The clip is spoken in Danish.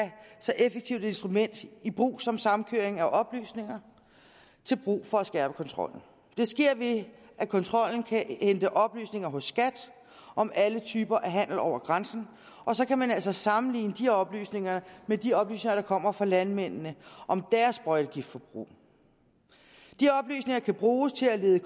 så effektivt et instrument i brug som samkøring af oplysninger til brug for at skærpe kontrollen det sker ved at kontrollen kan hente oplysninger hos skat om alle typer handel over grænsen og så kan man altså sammenligne de oplysninger med de oplysninger der kommer fra landmændene om deres sprøjtegiftforbrug de oplysninger kan bruges til at lede